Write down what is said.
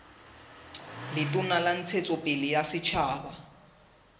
letona la ntshetsopele ya setjhaba